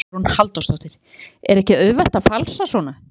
Hugrún Halldórsdóttir: Er ekki auðvelt að falsa svona?